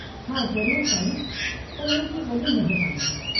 हा, ज़रूरु, साईं, तव्हां जी वॾी महिरबानी।